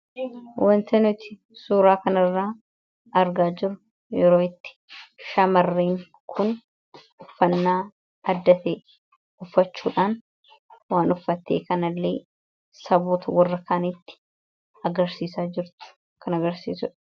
Wanti nuti suuraa kanarratti argaa jirru yeroo itti shamarreen kun uffannaa adda ta'e uffachuudhaan waan uffatte kanalleee saboota warra kaanitti agarsiisaa jirtudha.